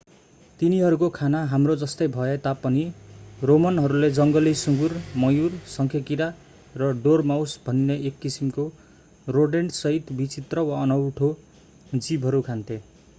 तिनीहरूको खाना हाम्रो जस्तै भए तापनि रोमनहरूले जङ्गली सुँगुर मयूर शंखेकिरा र डोरमाउस भनिने एक किसिमको रोडेन्टसहित विचित्र वा अनौठा जीवहरू खान्थे